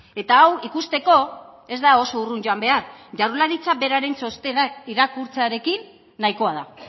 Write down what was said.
eta hau ikusteko ez da oso urrun joan behar jaurlaritza beraren txostenak irakurtzearekin nahikoa da